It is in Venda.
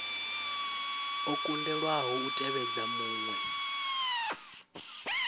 o kundelwaho u tevhedza muṅwe